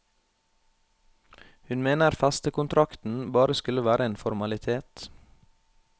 Hun mener festekontrakten bare skulle være en formalitet.